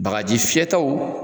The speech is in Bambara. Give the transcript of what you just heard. Bagaji fiyɛtaw